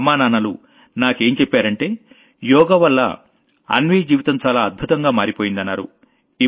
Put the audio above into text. వాళ్లమ్మానాన్నలు నాకేం చెప్పారంటే యోగావల్ల అన్వీ జీవితం చాలా అద్భుతంగా మారిపోయిందన్నారు